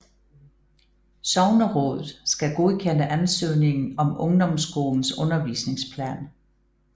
Sognerådet skal godkende ansøgningen om ungdomsskolens undervisningsplan